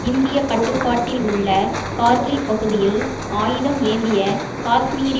இந்திய கட்டுப்பாட்டில் உள்ள கார்கில் பகுதியில் ஆயுதம் ஏந்திய காஷ்மீரி